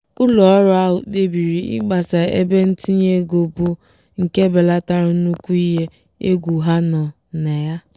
ụlọọrụ ahụ kpebiri ịgbasa ebe ntinye ego bụ nke belatara nnukwu ihe egwu ha nọ na ya.